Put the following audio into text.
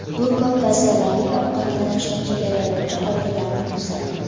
Bu ko‘p va zararli ovqatlanishni chegaralovchi qoidalarni buzadi.